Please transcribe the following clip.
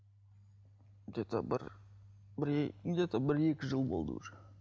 где то бір бір где то бір екі жыл болды уже